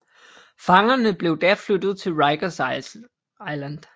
Fangerne blev da flyttet til Rikers Island